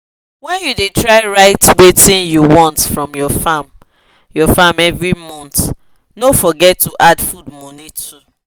when u da try write watin u want for ur farm ur farm every month no forget to the add food money too